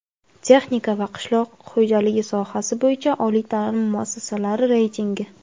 Texnika va qishloq xo‘jaligi sohasi bo‘yicha oliy taʼlim muassasalari reytingi.